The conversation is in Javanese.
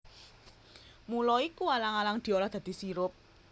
Mula iku alang alang diolah dadi sirup